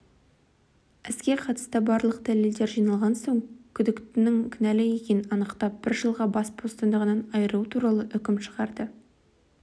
іске қатысты барлық дәлелдер жиналған соң сот күдіктінің кінәлі екенін анықтап бір жылға бас бостандығынан айыру туралы үкім шығарды